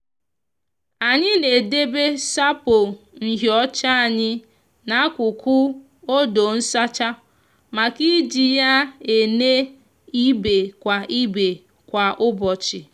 anyi n'edebe sapo nhiocha anyi na akuku odo nsacha maka iji ya ene ibe kwa ibe kwa ubochi.